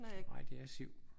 Nej det er et siv